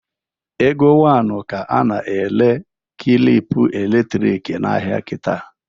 Ego one ka a na-ere klịp elektrik n'ahịa kịta?